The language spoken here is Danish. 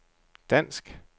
dansk